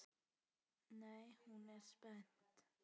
Nú er hún spennt.